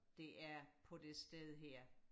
der er på det sted her